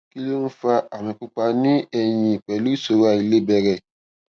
kí ló ń fa àmì pupa ní ẹyìn pẹlú ìṣòro àìlebẹrẹ